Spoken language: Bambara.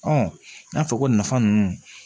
n y'a fɔ ko nafa ninnu